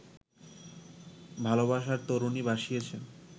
ভালোবাসার তরণি ভাসিয়েছেন